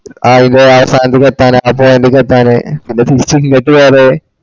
ആഹ് അയിന്റെ ആ side ക്ക് എത്താനായി പിന്നെ തിരിച് ഇങ്ങട്ട് വേറെ